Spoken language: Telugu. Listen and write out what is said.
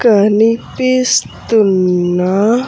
కనిపిస్తున్న.